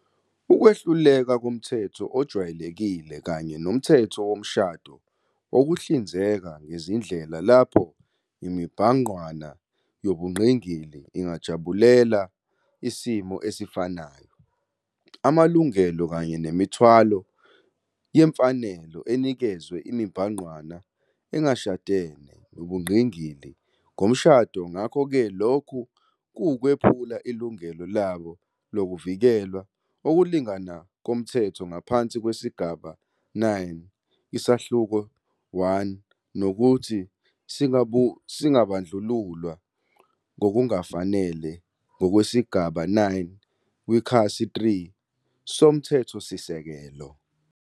Ukwehluleka komthetho ojwayelekile kanye noMthetho Womshado wokuhlinzeka ngezindlela lapho imibhangqwana yobungqingili ingajabulela isimo esifanayo, amalungelo kanye nemithwalo yemfanelo enikezwe imibhangqwana engashadene nobungqingili ngomshado ngakho-ke lokho kuwukwephula ilungelo labo lokuvikelwa okulinganayo komthetho ngaphansi kwesigaba 9, 1, nokuthi singabandlululwa ngokungafanele ngokwesigaba 9, 3, soMthethosisekelo.